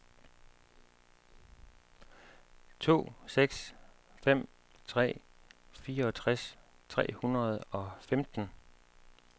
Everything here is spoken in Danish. to seks fem tre fireogtres tre hundrede og femten